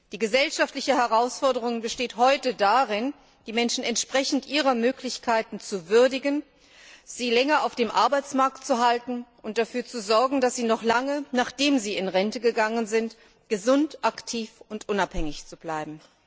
Die gesellschaftliche Herausforderung besteht heute darin, die Menschen entsprechend ihrer Möglichkeiten zu würdigen, sie länger auf dem Arbeitsmarkt zu halten und dafür zu sorgen, dass sie noch lange, nachdem sie in Rente gegangen sind, gesund, aktiv und unabhängig bleiben.